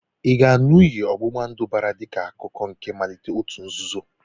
Ị ga-aṅụ iyi ọ̀gbụ̀gbàndụ̀ ọbara dịka akụkụ nke mmalite òtù nzuzo?